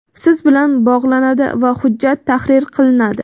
siz bilan bog‘lanadi va hujjat tahrir qilinadi.